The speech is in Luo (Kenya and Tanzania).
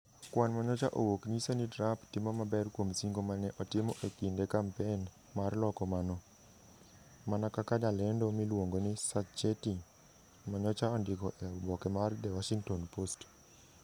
Kwan ma nyocha owuok nyiso ni Trump timo maber kuom singo ma ne otimo e kinde kampen mar loko mano, mana kaka jalendo miluongo ni Sacchetti ma nyocha ondiko e oboke mar The Washington Post.